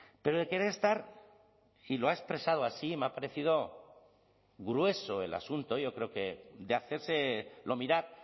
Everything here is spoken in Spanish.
pero de querer estar y lo ha expresado así me ha parecido grueso el asunto yo creo que de hacérselo mirar